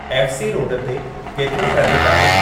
F C road ते केतिरो ट्रेफ़िकु आहे